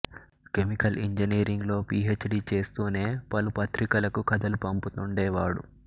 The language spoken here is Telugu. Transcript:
కెమికల్ ఇంజనీరింగ్ లో పీ హెచ్ డి చేస్తూనే పలు పత్రికలకు కథలు పంపుతుండేవాడు